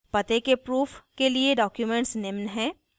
पते के proof के लिए documents निम्न हैं